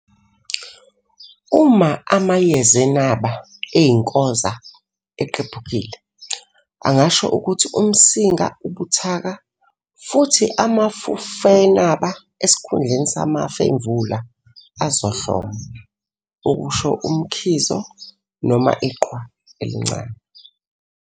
Uma amayezenaba eyinkoza eqephukile, angasho ukuthi umsinga ubuthaka futhi amafufenaba esikhundleni samafemvula azohloma, okusho umkhizo, noma iqhwa encane.